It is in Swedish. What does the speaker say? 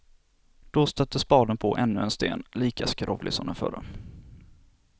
Då stötte spaden på ännu en sten, lika skrovlig som den förra.